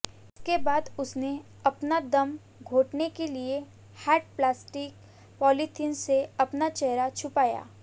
इसके बाद उसने अपना दम घोंटने के लिए हार्ड प्लास्टीक पॉलीथिन से अपना चेहरा छुपाया